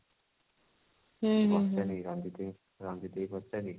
ମୁଁ ପଚାରିବି ରଞ୍ଜିତ ଭାଇ ରଞ୍ଜିତ ଭାଇ କୁ ପଚାରିବି